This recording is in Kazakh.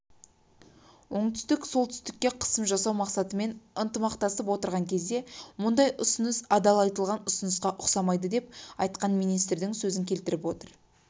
біреуі төңірегіндегі жағдай болады йонхап агенттігі ресми тұлғаларға сілтемелеп хабарлағандай сеулдің бастамасын қабыл алмау себебін